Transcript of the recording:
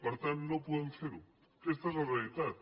per tant no podem fer ho aquesta és la realitat